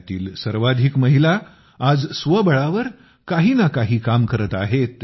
यातील सर्वाधिक महिला आज स्वबळावर काही काम करत आहेत